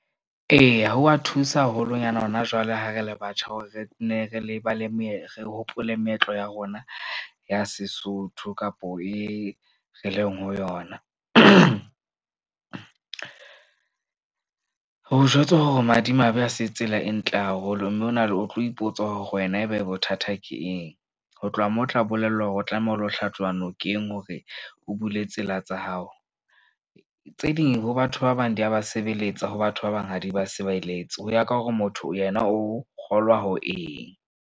Eya, ho wa thusa haholonyana hona jwale. Ha re le batjha hore re nne re lebale meetlo, re hopole meetlo ya rona ya Sesotho kapo e re leng ho yona. Ho jwetswa hore o madimabe ha se tsela e ntle haholo. Mme o na le o tlo ipotsa hore wena ebe bothata ke eng. Ho tloha moo, o tla bolellwa hore o tlameha o lo hlatsuwa nokeng hore o bule tsela tsa hao. Tse ding ho batho ba bang, di ya ba sebeletsa ho batho ba bang, ha di ba sebeletse ho ya ka hore motho yena o kgolwa ho eng.